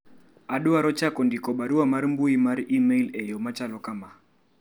adwaro chako ndiko barua mar mbui mar email eyo machalo kama